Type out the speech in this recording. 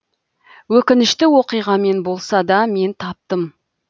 өкінішті оқиғамен болса да мен таптым